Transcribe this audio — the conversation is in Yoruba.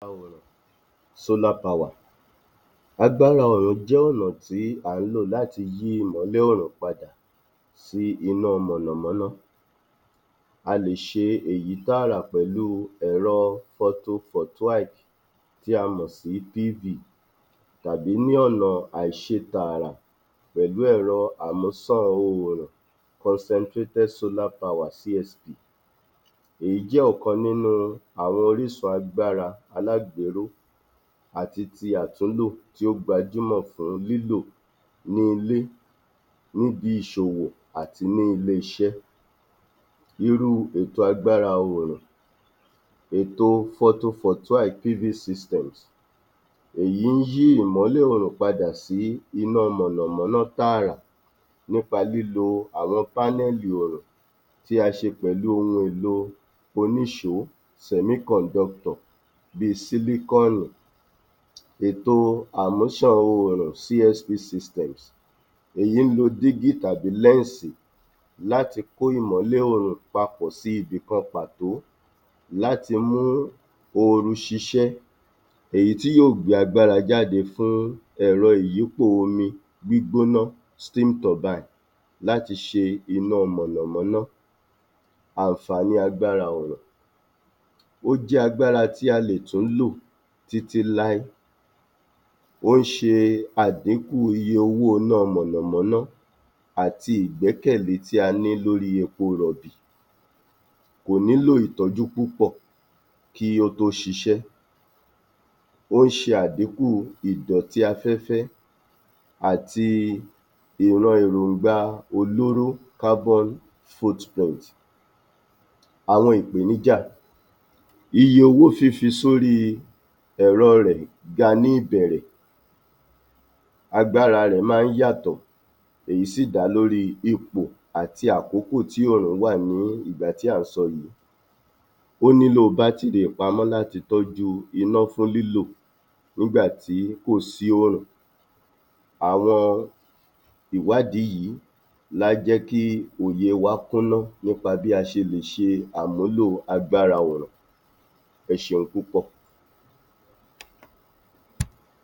26. Agbára Òòrùn solar power Agbára oòrùn jẹ́ ọ̀nà tí à ń lò láti yí ìmọ́lẹ̀ Òòrùn padà sí iná mọ̀nàmọ́ná, a lè ṣe èyí tààrà pẹ̀lúu ẹ̀rọ photovoltaic tí a mọ̀ sí (PV) tàbí ní ọ̀nà àìṣe tààrà pẹ̀lú ẹ̀rọ àmúsàn oòrùn concentrated solar power (CSP). Èyí jẹ́ ọ̀kan nínú àwọn orísun agbára alágbèéró àti ti àtúnlò tí ó gbajúmọ̀ fún lílò ní ilé níbi ìṣòwò àti ní ilé iṣẹ́. Irú ètò agbára oòrùn Ètòo photovoltaic (PV) system, èyí ń yí ìmọ́lẹ̀ oòrùn padà sí iná mọ̀nàmọ́ná tààrà nípa nípa lílọ àwọn pánẹ́ẹ̀lì oòrùn tí a ṣe pẹ̀lú ohun èlòo oníṣòó semiconductor bíi sílíkọ́ọ̀nù. Ètò amúṣàn oòrùn CSP System Èyí ń lo dígí tàbí lẹ́ǹsì láti kó ìmọ́lẹ̀ oòrùn papọ̀ sí Ibìkan pàtó, láti mú ooru ṣíṣe, èyí tí yóò gbé agbára jáde fún ẹ̀rọ ìyípò omi gbígbóná steam turbine láti ṣe iná mọ̀nàmọ́ná Àǹfààní agbára oòrùn Ó jẹ́ agbára tí a lè tún lò títí láé, ó ń ṣe àdíkù iye owóoná mọ̀nàmọ́ná àti ìgbẹ́kẹ̀lé tí a ní lórí epo rọ̀bì. Kò nílò ìtọ́jú púpọ̀ kí ó tó ṣiṣẹ́, ó ń ṣe àdíkù ìdọ̀tí afẹ́fẹ́ àti ìran èròǹgbà-olóró carbon footprint. Àwọn ìpèníjà Iye owó fífi sórí ẹ̀rọọ rẹ̀ ga ní ìbẹ̀rẹ̀, agbára rẹ̀ máa ń yàtọ̀, èyí sì dá lórí ipò àti àkókò tí òòrùn wà ní ìgbà tí à ń sọ yìí, ó nílò bátìrì ìpamọ́ láti tọ́jú iná ní lílò nígbà tí kò sí òòrùn. Àwọn ìwádìí yìí lá jẹ́ kí òye wá kúnnú nípa bí a ṣe lè ṣe àmúlò agbára òòrùn. Ẹ ṣeun púpọ̀.